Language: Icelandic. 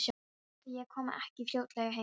En ætli ég komi ekki fljótlega heim.